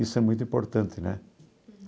Isso é muito importante, né?